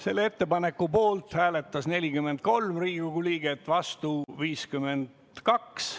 Selle ettepaneku poolt hääletas 43 Riigikogu liiget, vastu oli 52.